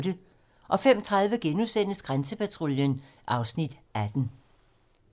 05:30: Grænsepatruljen (Afs. 18)*